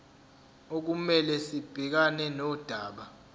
okumele sibhekane nodaba